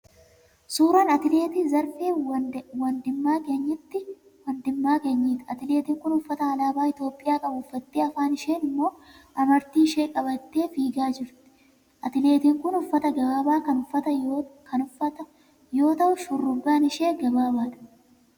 Suuraa atileet Zarfee Wandimaaganyiiti. Atileetiin kun uffata alaabaa Itiyoophiyaa qabu uffattee afaan isheen immoo amartii ishee qabattee fiigaa jirti. Atileetiin kun uffata gabaabaa kan uffata yoo ta'u shurrubbaan ishee gabaabaadha.